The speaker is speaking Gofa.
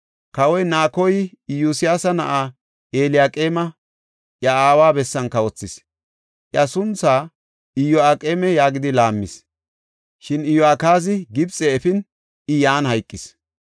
Kawoy Naakoy Iyosiyaasa na7aa Eliyaqeeme iya aawa bessan kawothis; iya sunthaa Iyo7aqeema yaagidi laammis. Shin Iyo7akaaza Gibxe efin, I yan hayqis.